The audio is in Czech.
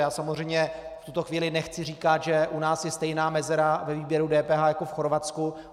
Já samozřejmě v tuto chvíli nechci říkat, že u nás je stejná mezera ve výběru DPH jako v Chorvatsku.